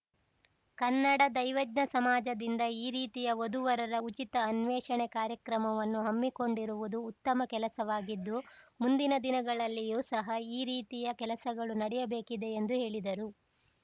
ಕನ್ನಡ ದೈವಜ್ಞ ಸಮಾಜದಿಂದ ಈ ರೀತಿಯ ವಧುವರರ ಉಚಿತ ಅನ್ವೇಷಣೆ ಕಾರ್ಯಕ್ರಮವನ್ನು ಹಮ್ಮಿಕೊಂಡಿರುವುದು ಉತ್ತಮ ಕೆಲಸವಾಗಿದ್ದು ಮುಂದಿನ ದಿನಗಳಲ್ಲಿಯೂ ಸಹ ಈ ರೀತಿಯ ಕೆಲಸಗಳು ನಡೆಯಬೇಕಿದೆ ಎಂದು ಹೇಳಿದರು